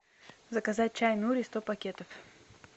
заказать чай нури сто пакетов